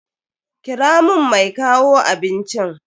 Kira mun mai kawo abincin.